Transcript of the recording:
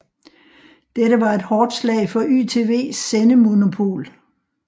Dette var et hårdt slag for YTVs sendemonopol